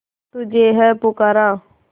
तुझे है पुकारा